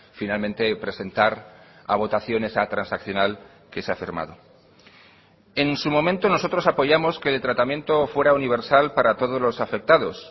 finalmente presentar a votación esa transaccional que se ha firmado en su momento nosotros apoyamos que el tratamiento fuera universal para todos los afectados